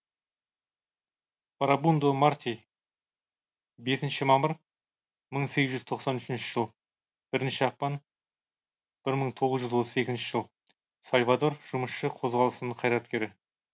фарабундо марти бесінші мамыр мың сегіз жүз тоқсан үшінші жыл бірінші ақпан бір мың тоғыз жүз отыз екінші жыл сальвадор жұмысшы қозғалысының қайраткері